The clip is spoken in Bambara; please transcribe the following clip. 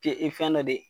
Ke fɛn dɔ de